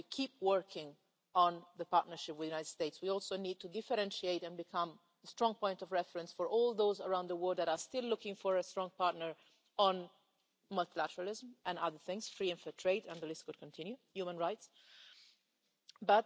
As we keep working on the partnership with the United States we also need to differentiate and become a strong point of reference for all those around the world that are still looking for a strong partner on multilateralism and other things free and fair trade, human rights the list could continue.